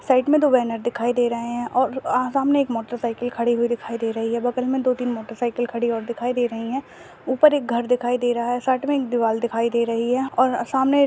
side मैं दो banner दिखाई दे रहे है और आ सामने एक मोटरसाइकिल खडी हुई दिखाई दे रही है बगल मैं दो तीन मोटरसाइकिल खड़ी और दिखाई दे रही है ऊपर एक घर दिखाई दे रहा है साइड मैं एक दीवाल दिखाई दे रही है और अ सामने --